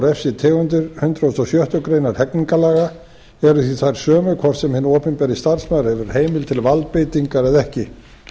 eða refsitegundir hundrað og sjöttu grein hegningarlaga eru því þær sömu hvort sem hinn opinberi starfsmaður hefur heimild til valdbeitingar eða ekki